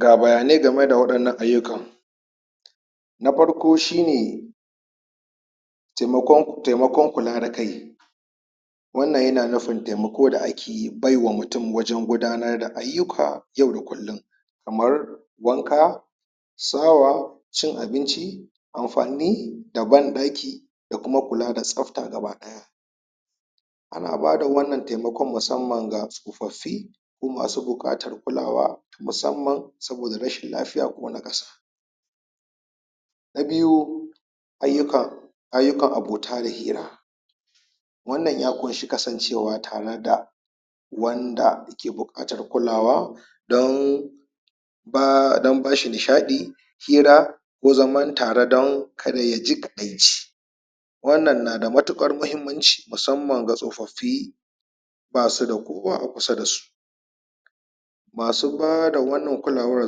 Ga bayanai game da waɗannan ayukan na farko shine, taimakon, taimakon kula da kai wannan yana nufin taimako da ake yi baiwa mutum wajen gudanar da ayyuka yau da akullum; kamar wanka, sawa, cin abinci amfani da banɗaki, da kuma kula da tsabta gaba ɗaya. Ana bada wannan taimakon musammana ga tsofaffi, ko masu buƙatar kulawa musamman saboda rashin lafiya ko naƙaso. Na biyu, Ayyukan, ayyukan abota da hira, Wanna ya ƙunshi kasancewa tare da wanda yake buƙatar kulawa don don bashi nishaɗi, fira ko zaman tare don kada ya ji kaɗaici. Wannan na da matuƙar muhimmanci musamman ga tsofaffi, basu da kowa a kusa da su. Masu bada wannan kulawar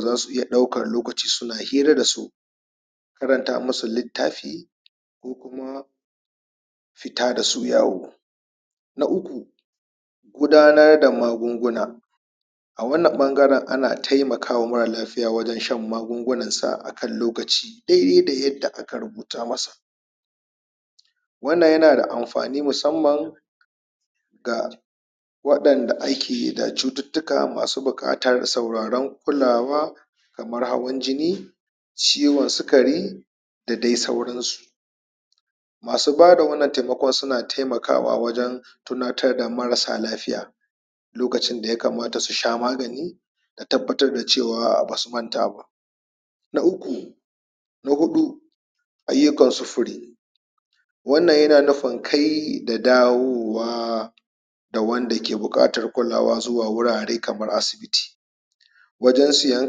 za su iya ɗaukar lokaci suna hira da su, karanta musu littafi, ko kuma fita da su yawo. Na Uku, Gudanar da magunguna. A wannan ɓangaren ana taimakama mara lafiya wajen shan magiungunansa akan lokaci, daidai da yadda aka rubuta masa. Wannan yana da amfani musamman ah waɗanda suke da cututtuka musamman masu sauraron kulawa, kamar hawan jini, ciwon sukari, da dai sauransu. Masu ba da wannan taimakon suna taimakawa wajen tunatar da marasa lafiya lokacin da ya kamata su sha magani, da tabbatar da cewa ba su manta ba. Na Uku, na huɗu; Ayyukan sufuri, wannan yana nufin kai da dawowa, da wanda ke buƙatar kulawa zuwa wurare kamar asibiti, wajen siyan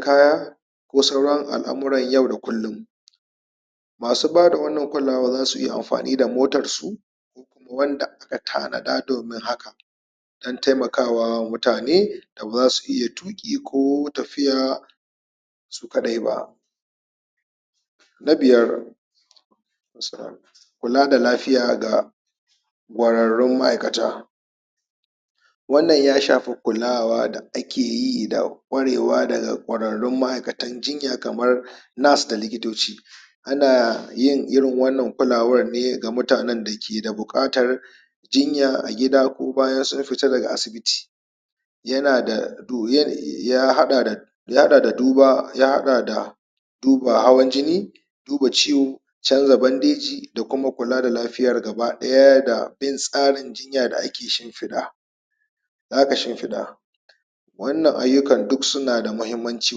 kaya, ko sauran al'amuran yau da kullum. Masu bada wannan kulkawa za su iya amfani da motarsu, wanda aka tanada domin haka, don taimakawa mutane da ba su iya tuƙi ko tafiya, su kaɗai ba. Na biyar, Kula da lafiya ga ƙwararrun ma'aikata. Wanna ya shafi kulawa da ake yi da ƙwarewa da akeyi daga ma'aikatan jinya kamar nurse da likitoci. Ana yin irin wannan kulawar ne ga mutanen da ke da buƙatar jinya a gida ko baya sun fita daga asibiti. Yana da, ya haɗa da haɗa da duba, ya haɗa da duba hawan jini, duba ciwo, canza bandeji da kuma kula da lafiyar gaba ɗaya da bin tsarin jinya da ake shifiɗa, da aka shimfiɗa. Wannan ayukan duk suna da mahimmanci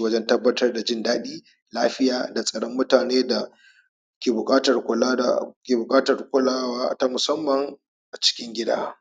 wajen tabbatar da jin daɗi, lafiya da tsaron mutane da ke buƙatar kula, ke buƙatar kulwa ta musamman, a cikin gida.